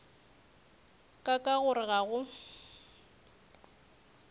ka ka gore ga go